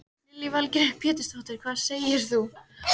Lillý Valgerður Pétursdóttir: Hvað segir þú?